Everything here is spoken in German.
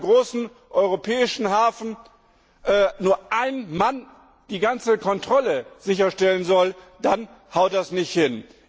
Wenn in einem großen europäischen Hafen nur ein Mann die ganze Kontrolle sicherstellen soll, dann haut das nicht hin.